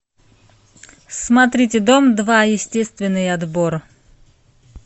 смотрите дом два естественный отбор